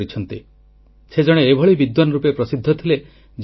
ଶିବକୁମାର ସ୍ୱାମୀଜୀ ନିଜର ସମ୍ପୂର୍ଣ୍ଣ ଜୀବନ ସମାଜ ସେବାରେ ସମର୍ପିତ କରିଦେଲେ